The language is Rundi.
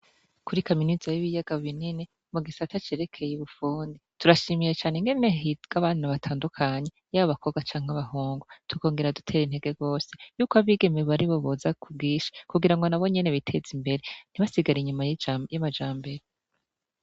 Kuri kaminuza y'ibiyaga binini, mu gisata cerekeye ubufundi, turashimiye cane ingene higa abana batandukanye, yaba abakobwa canke abahungu. Tukongera dutera intege rwose yuko abigeme aribo boza ku bwinshi, kugirango nabo nyene biteze imbere ntibasigare inyuma y'amajambere.